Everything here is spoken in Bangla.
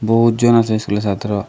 বহুতজন আসে স্কুলে ছাত্র।